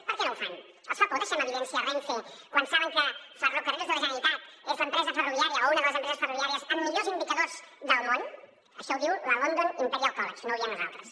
per què no ho fan els fa por deixar en evidència renfe quan saben que ferrocarrils de la generalitat és l’empresa ferroviària o una de les empreses ferroviàries amb millors indicadors del món això ho diu la imperial college london no ho diem nosaltres